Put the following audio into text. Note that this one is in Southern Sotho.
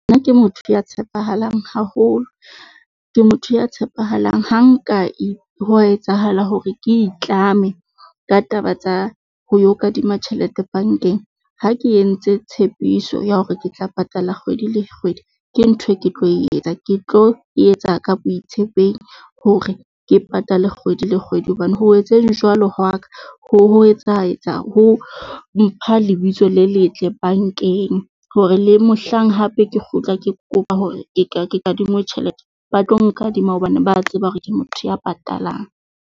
Nna ke motho ya tshepahalang haholo, ke motho ya tshepahalang. Ha nka ho etsahala hore ke itlame ka taba tsa ho yo kadima tjhelete bankeng. Ha ke entse tshepiso ya hore ke tla patala kgwedi le kgwedi, ke ntho e ke tlo etsa ke tlo etsa ka boitshepehi leng hore ke patale kgwedi le kgwedi hobane ho etseng jwalo ho wa ka ho etsa etsa ho mpha lebitso le letle bankeng hore le mohlang hape ke kgutla ke kopa hore ke ka ke kadingwe tjhelete. Ba tlo nkadima hobane ba tseba hore ke motho ya patalang.